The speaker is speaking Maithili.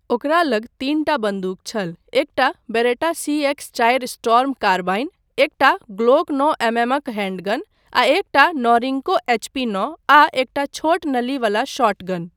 ओकरा लग तीनटा बन्दूक छल, एकटा बेरेटा सी एक्स चारि स्टॉर्म कार्बाइन, एकटा ग्लोक नौ एमएमक हैंडगन आ एकटा नोरिंको एचपी नौ आ एकटा छोट नली वाला शॉटगन।